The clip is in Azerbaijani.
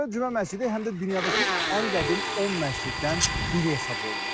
Dərbənd Cümə məscidi həm də dünyadakı ən qədim 10 məsciddən biri hesab olunur.